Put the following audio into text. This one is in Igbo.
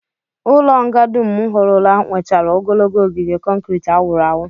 Ụlọnga dum m hụrụla nwechara ogologo ogige kọnkrit a wụrụ awụ